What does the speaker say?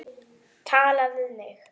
Tala við mig?